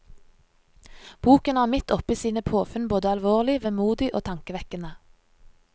Boken er midt oppi sine påfunn både alvorlig, vemodig og tankevekkende.